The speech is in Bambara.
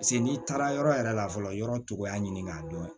Paseke n'i taara yɔrɔ yɛrɛ la fɔlɔ yɔrɔ cogoya ɲini k'a dɔn